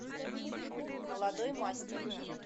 молодой мастер